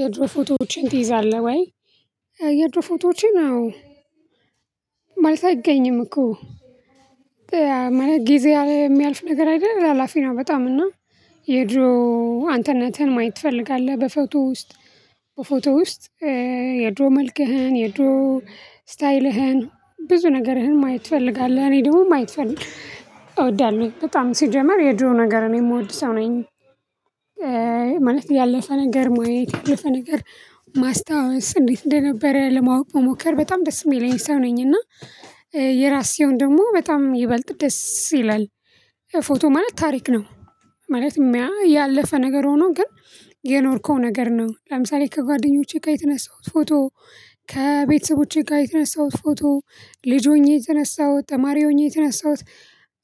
የድሮ ፎቶዎችን ትይዛለህ ወይ? የድሮ ፎቶዎችን አዎ። ማለት አይገኝም እኮ ጊዜ የሚያልፍ ነገር አይደለም ሀላፊና በጣም እና የድሮ አንተነትህን ማየት ትፈልጋለህ በፎቶ ውስጥ በፎቶ ውስጥ የድሮ መልክህን የድሮ ስታይልህን ብዙ ነገርህን ማየት ትፈልጋለህ እኔ ደግሞ ማየት እወዳለው በጣም ሲጀመር የጅሮ ነገር ነው የምወድ ሰው ነኝ። ማለት ያለፈ ነገር ማየት ያለፈ ነገር ማስታወስ እንዴት እንደነበረ ለማወቅ ሞከር በጣም ደስ የሚል አይነት ሰው ነኝ እና የራሴውን ደግሞ በጣም ይበልጥ ደስ ይላል። ፎቶ ማለት ታሪክ ነው። ማለት ያ ያለፈ ነገር ሆኖ ግን የኖርከው ነገር ነው ለምሳሌ ከጓደኞቼ ጋር የተነሳሁት ፎቶ ከቤተሰቦቼ ጋር የተነሳሁት ፎቶ ልጅ ሆኜ የተነሳሁት ተማሪ ሆኜ የተነሳሁት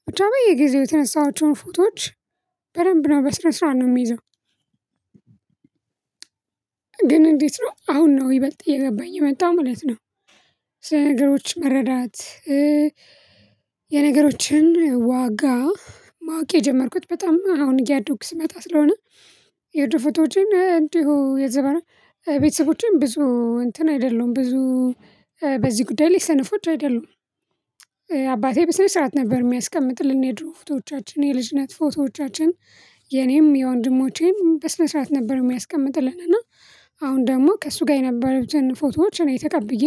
ብቻ የጊዜው የተነሳዎቹን ፎቶዎች በደንብ ነው በስራ ስራ ነው የሚይዘው። ግን እንዴት ነው አሁን ነው ይበልጥ እየገባኝ የመጣው ማለት ነው። ነገሮች መረዳት የነገሮችን ዋጋ ማወቅ የጀመርኩት በጣም አሁን እያዶኩ ስመጣ ስለሆነ የድሮቶችን እንዲሁ የዘበና ቤተሰቦችን ብዙ እንትን አይደለሁም ብዙ በዚህ ጉዳይ ላይ ሰነፎች አይደሉም። አባቴ በስነ ስርዓት ነበር የሚያስቀምጥልን የድሮ ፎቶዎቻችን የልጅነት ፎቶዎቻችን የኔም የወንድሞቼም በስነ ስርዓት ነበር የሚያስቀምጥልን እና አሁን ደግሞ ከእሱ ጋር የነበሩትን ፎቶዎች እኔ ተቀብዬ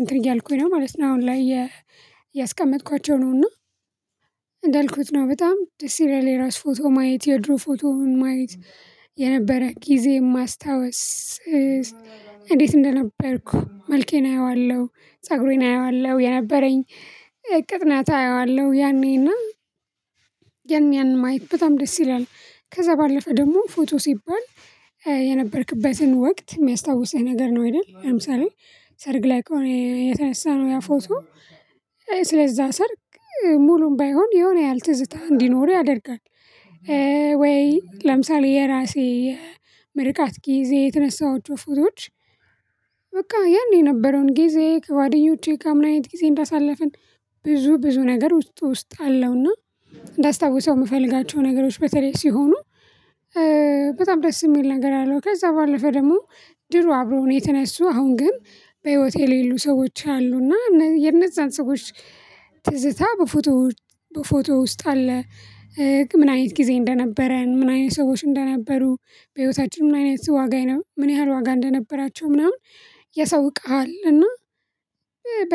እንትን እያልኩኝ ነው ማለት ነው። አሁን ላይ ያስቀመጥኳቸው ነው እና እንዳልኩት ነው በጣም ደስ ይለኛል። የራስ ፎቶ ማየት የድሮ ፎቶ ማየት የነበረ ጊዜ የማስታውስ እንዴት እንደነበርኩ መልኬን አየዋለሁ ፀጉሬን አየዋለሁ የነበረኝ ቅጥነት አየዋለሁ ያኔና ያኔን ማየት በጣም ደስ ይላል። ከዛ ባለፈ ደግሞ ፎቶ ሲባል የነበርክበትን ወቅት የሚያስታውስህ ነገር ነው አይደል ለምሳሌ ሰርግ ላይ ከሆነ የተነሳ ነው ያ ፎቶ ስለዛ ሰርግ ሙሉም ባይሆን የሆነ ያህል ትዝታ እንዲኖር ያደርጋል። ወይ ለምሳሌ የራሴ ምርቃት ጊዜ የተነሳሁት ፎቶዎች በቃ ያኔ የነበረውን ጊዜ ከጓደኞቼ ጋር ምን አይነት ጊዜ እንዳሳለፍን ብዙ ብዙ ነገር ውስጥ ውስጥ አለውና እንዳስታውሰው የምፈልጋቸው ነገሮች በተለይ ሲሆኑ በጣም ደስ የሚል ነገር አለው። ከዛ ባለፈ ደግሞ ድሮ አብሮ ነው የተነሱ አሁን ግን በህይወቴ የሌሉ ሰዎች አሉና የነዛን ሰዎች ትዝታ በፎቶ በፎቶ ውስጥ አለ። ምን አይነት ጊዜ እንደነበረን ምን አይነት ሰዎች እንደነበሩ በህይወታችን ምን አይነት ዋጋ ነው ምን ያህል ዋጋ እንደነበራቸው ምናምን ያሳውቅሃል እና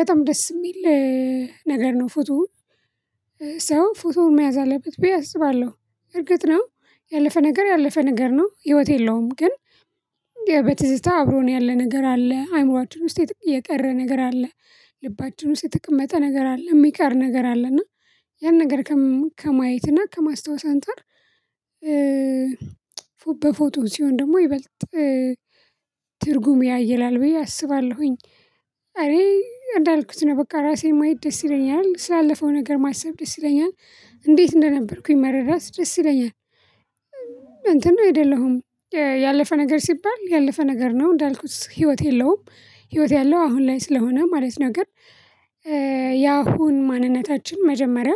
በጣም ደስ የሚል ነገር ነው። ፎቶ ሰው ፎቶውን መያዝ አለበት ብዬ አስባለሁ እርግጥ ነው ያለፈ ነገር ያለፈ ነገር ነው ህይወት የለውም። ግን በትዝታ አብሮ ነው ያለ ነገር አለ አእምሮአችን ውስጥ የቀረ ነገር አለ። ልባችን ውስጥ የተቀመጠ ነገር አለ የሚቀር ነገር አለ እና ያን ነገር ከማየት እና ከማስታወስ አንፃር በፎቶ ሲሆን ደግሞ ይበልጥ ትርጉም ያየላል ብዬ አስባለሁኝ። እኔ እንዳልኩት ነው በቃ ራሴን ማየት ደስ ይለኛል ስላለፈው ነገር ማሰብ ደስ ይለኛል እንዴት እንደነበርኩኝ መረዳት ደስ ይለኛል። እንትን ነው አደለሁም ያለፈ ነገር ሲባል ያለፈ ነገር ነው እንዳልኩት ህይወት የለውም ህይወት ያለው አሁን ላይ ስለሆነ ማለት ነገር። ያሁን ማንነታችን መጀመሪያ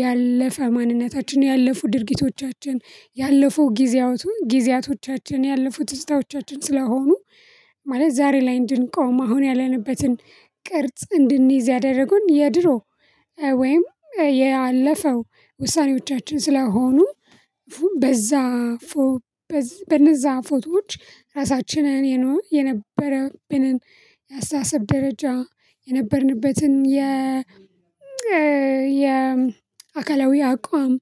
ያለፈ ማንነታችን ያለፉ ድርጊቶቻችን ያለፉ ጊዜያቶቻችን ጊዜያቶቻችን ያለፉ ትዝታዎቻችን ስለሆኑ ማለት ዛሬ ላይ እንድንቆም አሁን ያለንበትን ቅርጽ እንድንይዝ ያደረጉን የድሮ ወይም ያለፈው ውሳኔዎቻችን ስለሆኑ በዛ በነዛ ፎቶዎች ራሳችንን የነበረብንን የአስተሳሰብ ደረጃ የነበርንበትን የ የ አካላዊ አቋም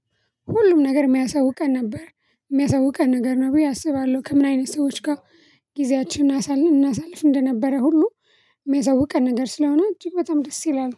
ሁሉም ነገር የሚያሳውቀን ነበር የሚያሳውቀን ነገር ነው ብዬ አስባለሁ። ከምን አይነት ሰዎች ጋር ጊዜያችንን እናሳልፍ እናሳልፍ እንደነበረ ሁሉ የሚያሳውቀን ነገር ስለሆነ እጅግ በጣም ደስ ይላል